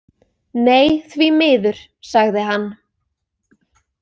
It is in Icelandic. Nei, því miður, sagði hann.